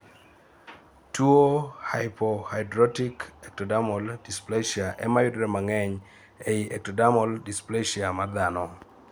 tuo hypohidrotic ectodermal dysplacia ema yudore mang'eny ei ectodermal dysplacia mar dhano